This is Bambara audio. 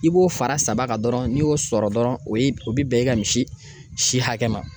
I b'o fara saba kan dɔrɔn n'i y'o sɔrɔ dɔrɔ, o ye o bi bɛn, i ka misi si hakɛ ma.